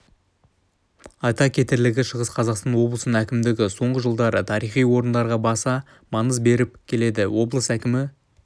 айта кетерлігі шығыс қазақстан облысының әкімдігі соңғы жылдары тарихи орындарға баса маңыз беріп келеді облыс әкімі